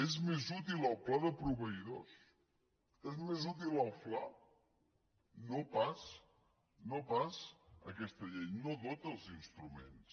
és més útil el pla de proveïdors és més útil el fla no pas aquesta llei no dota dels instruments